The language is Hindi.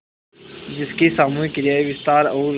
जिसकी सामूहिक क्रियाएँ विस्तार और